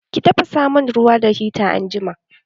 Ki tafasa mun ruwa da hita anjima!